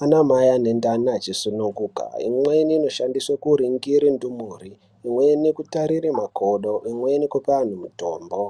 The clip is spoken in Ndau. neanamai ane ndani achisununguka. Imweni inoshandiswe kuningire ndumure. Imweni inoshandiswe kutarire makodo. Imweni kupe antu mitombo.